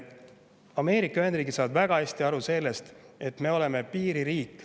Ameerika Ühendriigid saavad väga hästi aru sellest, et me oleme piiririik.